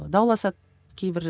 дауласады кейбір